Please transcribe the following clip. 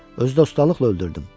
Özü də ustalıqla öldürdüm.